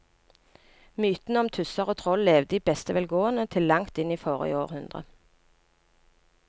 Mytene om tusser og troll levde i beste velgående til langt inn i forrige århundre.